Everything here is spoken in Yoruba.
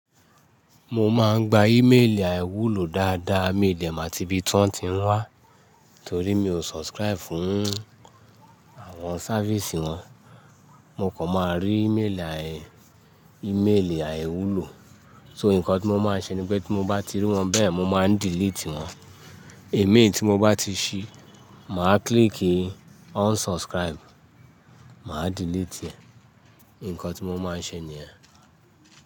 Mo máa ń gba e-mail àìwúlò dáadáa. Mi ò dẹ̀ mo àti ibi tán ti ń wá torí mi o subscribe fún àwọn sávíìsì wọn. Mo kọ̀ máa rí iméèlì àìwúlò, so nǹkan tí mo máa ń ṣe ni pé tí mo bá ti rí wọn bẹ́ẹ̀ mo máa ń delete wọ́n. Eléyìí tí mo bá ti ṣi, màá click on unsubscribe, màá delete ẹ. Ǹǹkan tí mo máa ń ṣe niyẹ̀n.